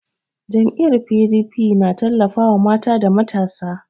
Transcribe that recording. Jam'iyyar PDP na tallafawa mata da matasa.